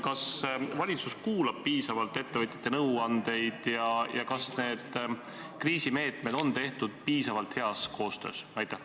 Kas valitsus kuulab piisavalt ettevõtjate nõuandeid ja kas need kriisimeetmed on tehtud piisavalt heas koostöös?